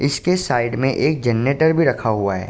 इसके साइड में एक जरनेटर भी रखा हुआ है।